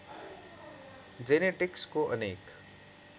जेनेटिक्सको अनेक